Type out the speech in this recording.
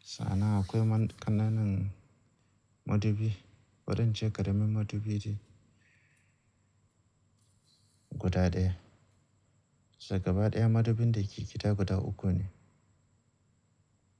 Sa'an nan akwai ƙananan madubi bari ince ƙaramin madubi ɗin guda ɗaya. Da gaba ɗaya madubin da ke gida guda uku ne.